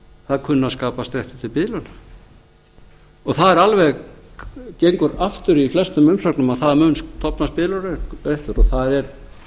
það kunni að skapast réttur til biðlauna það gengur aftur í flestum umsögnum að það mun stofnast biðlaunaréttur og það er